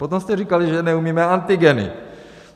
Potom jste říkali, že neumíme antigeny.